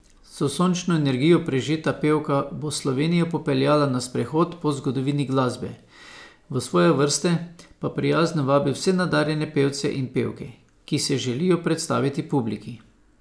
S sončno energijo prežeta pevka bo Slovenijo popeljala na sprehod po zgodovini glasbe, v svoje vrste pa prijazno vabi vse nadarjene pevce in pevke, ki se želijo predstaviti publiki ...